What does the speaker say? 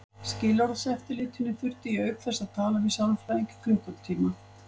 Skilorðseftirlitinu þurfti ég auk þess að tala við sálfræðing í klukkutíma.